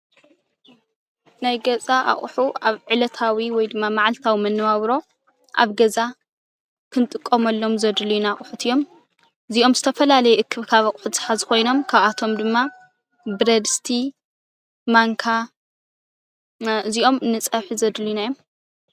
ናይ ገዛ ኣቁሑ ኣብ ዕለታዊ ወይ ድማ ማዓልታዊ መነባብሮ ኣብ ገዛ ክንጥቀመሎም ዘድልዩና ኣቁሑት እዮም፡፡ እዚኦም ዝተፈላለዩ እክብካብ ኣቁሑ ዝሓዙ ኮይኖም ካብኣቶም ድማ ብረድስቲ፣ ማንካ እዚኦም ንፀብሒ ዘድልዩና እዮም፡፡